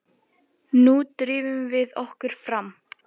Nú drífum við okkur fram!